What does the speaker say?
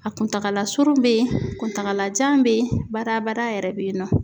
A kuntakala surun bɛ ye kuntagala jan bɛ ye badabada yɛrɛ bɛ yen nɔ.